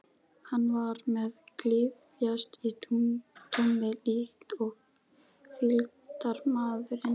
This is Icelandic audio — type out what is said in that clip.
Hann var með klyfjahest í taumi líkt og fylgdarmaðurinn.